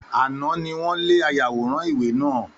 Àná ni wọ́n lé ayàwòrán ìwé náà.